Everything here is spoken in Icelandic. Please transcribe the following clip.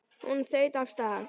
Hún þaut af stað.